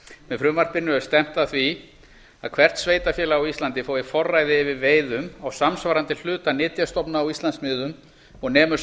með frumvarpinu er stefnt að því að hvert sveitarfélag á íslandi fái forræði yfir veiðum á samsvarandi hluta nytjastofna á íslandsmiðum og nemur